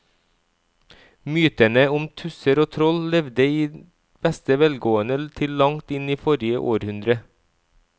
Mytene om tusser og troll levde i beste velgående til langt inn i forrige århundre.